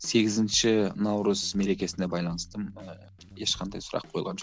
сегізінші наурыз мерекесіне байланысты ыыы ешқандай сұрақ қойылған жоқ